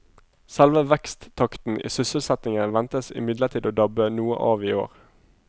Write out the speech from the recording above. Selve veksttakten i sysselsettingen ventes imidlertid å dabbe noe av i år.